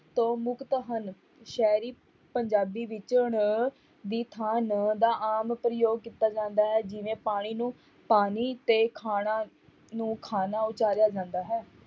ਤੋਂ ਮੁਕਤ ਹਨ, ਸ਼ਹਿਰੀ ਪੰਜਾਬੀ ਵਿੱਚ ਣ ਦੀ ਥਾਂ ਨ ਦਾ ਆਮ ਪ੍ਰਯੋਗ ਕੀਤਾ ਜਾਂਦਾ ਹੈ, ਜਿਵੇਂ ਪਾਣੀ ਨੂੰ ਪਾਨੀ ਤੇ ਖਾਣਾ ਨੂੰ ਖਾਨਾ ਉਚਾਰਿਆ ਜਾਂਦਾ ਹੈ।